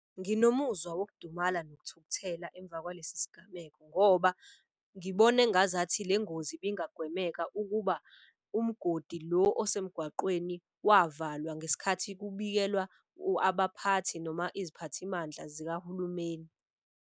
Nginomuzwa wokudumala nokuthukuthela emva kwalesi sigameko ngoba ngibona engazathi le ngozi ibangagwemeka. Ukuba umgodi lo osemgaqweni wavalwa ngesikhathi kubikelwa abaphathi noma iziphathimandla zikahulumeni.